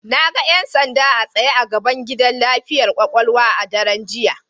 Na ga 'yan sanda a tsaye a gaban gidan lafiyar kwakwalwa a daren jiya.